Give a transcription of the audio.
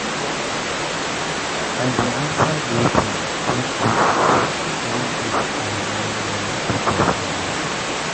i dey answer greeting even if even if i no know the person name.